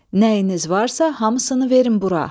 Nəyiniz varsa hamısını verin bura.